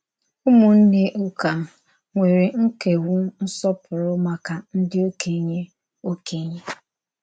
Ụ́mụ̀nnè ụ́kà nwerè ńkèwú nsọ̀pùrù màkà ndí òkènye. òkènye.